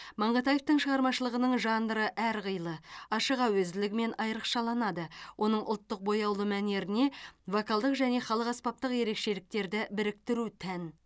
маңғытаевтың шығармашылығының жанры әрқилы ашық әуезділігімен айрықшаланады оның ұлттық бояулы мәнеріне вокалдық және халық аспаптық ерекшеліктерді біріктіру тән